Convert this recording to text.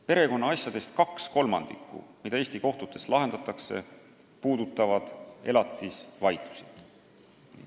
Perekonnaasjadest, mida Eesti kohtutes lahendatakse, puudutab kaks kolmandikku elatisvaidlusi.